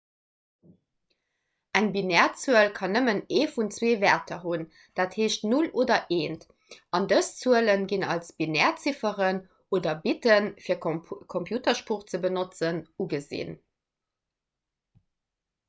eng binärzuel kann nëmmen ee vun zwee wäerter hunn d. h. 0 oder 1 an dës zuele ginn als binärzifferen – oder bitten fir computersprooch ze benotzen ugesinn